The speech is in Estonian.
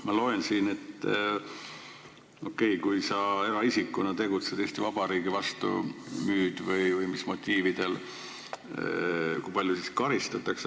Ma loen siit, et kui sa eraisikuna tegutsed Eesti Vabariigi vastu, näiteks müüd midagi selle motiiviga, siis kui paljuga selle eest karistatakse.